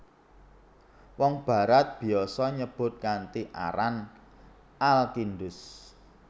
Wong Barat biasa nyebut kanthi aran Al Kindus